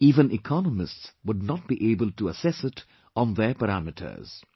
Even economists would not be able to assess it on their parameters